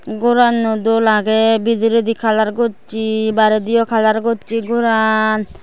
goran ow doll agay bidirey di colour gosay baraydiow colour gosay goran.